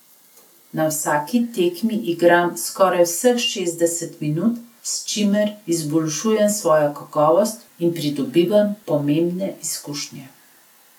Na vsaki tekmi igram skoraj vseh šestdeset minut, s čimer izboljšujem svojo kakovost in pridobivam pomembne izkušnje.